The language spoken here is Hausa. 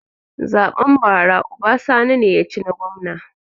Zaɓen bara uba sani ne ya ci na gwamna